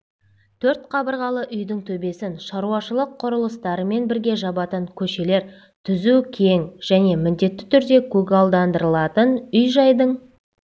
төрт қабырғалы үйдің төбесін шаруашылық құрылыстарымен бірге жабатын көшелер түзу кең және міндетті түрде көгалдандырылатын үй-жайдың